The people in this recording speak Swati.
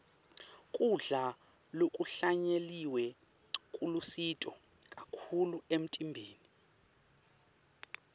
kudla lokuhlanyeliwe kulusito kakhulu emtimbeni